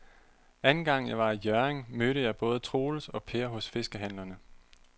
Anden gang jeg var i Hjørring, mødte jeg både Troels og Per hos fiskehandlerne.